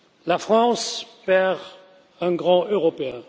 La France perd un grand Européen.